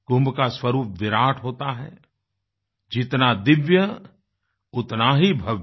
कुंभ का स्वरूप विराट होता है जितना दिव्य उतना ही भव्य